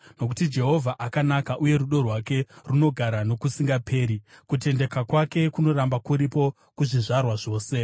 Nokuti Jehovha akanaka uye rudo rwake runogara nokusingaperi; kutendeka kwake kunoramba kuripo kuzvizvarwa zvose.